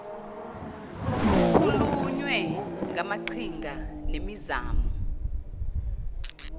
kukhulunywe ngamaqhinga nemizamo